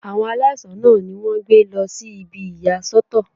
Àwọn aláìsàn náà ni wọ́n gbé lọ sí ibi ìyà sọ́tọ̀.